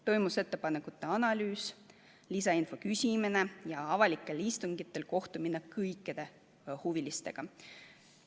Toimus ettepanekute analüüs ja lisainfo küsimine ning avalikel istungitel kohtuti kõikide huvilistega.